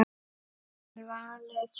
Vel valið.